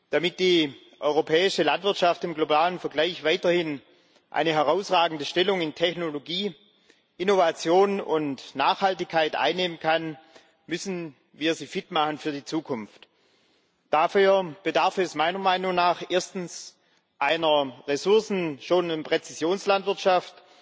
Damit die europäische Landwirtschaft im globalen Vergleich weiterhin eine herausragende Stellung in Technologie, Innovation und Nachhaltigkeit einnehmen kann, müssen wir sie für die Zukunft fit machen. Dafür bedarf es meiner Meinung nach Erstens Ressourcen schon in der Präzisionslandwirtschaft,